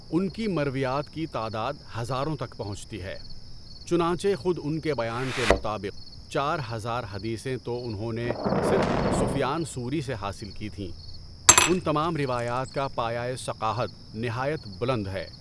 ان کی مرویات کی تعداد ہزاروں تک پہنچتی ہے، چنانچہ خود ان کے بیان کے مطابق چار ہزار حدیثیں تو انہوں نے صرف سفیان ثوری سے حاصل کی تھیں، ان تمام روایات کا پایۂ ثقاہت نہایت بلند ہے۔